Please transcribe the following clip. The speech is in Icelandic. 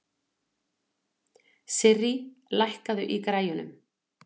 Sirrí, lækkaðu í græjunum.